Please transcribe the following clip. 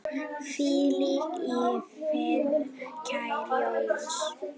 Hvíl í friði, kæri Jónas.